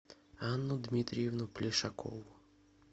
анну дмитриевну плешакову